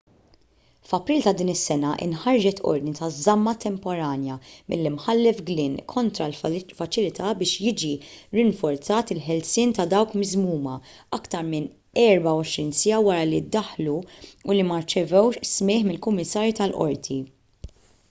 f'april ta' din is-sena inħarġet ordni ta' żamma temporanja mill-imħallef glynn kontra l-faċilità biex jiġi rinforzat il-ħelsien ta' dawk miżmuma aktar minn 24 siegħa wara li ddaħlu u li ma rċevewx smigħ minn kummissarju tal-qorti